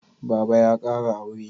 Baba ya kara aure